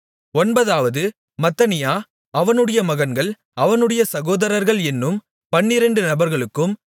ஒன்பதாவது மத்தனியா அவனுடைய மகன்கள் அவனுடைய சகோதரர்கள் என்னும் பன்னிரெண்டு நபர்களுக்கும்